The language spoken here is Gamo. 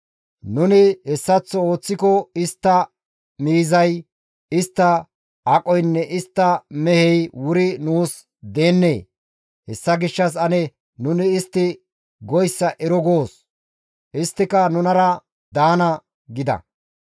Nuni hessaththo ooththiko istta miizay, istta aqoynne istta mehey wuri nuus deennee? Hessa gishshas ane nuni istti goyssa ero goos; isttika nunara daana» gida.